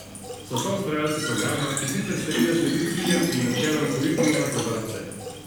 So soustvarjalci programa, ki sicer seveda sledi ciljem in načelom Kurikuluma za vrtce.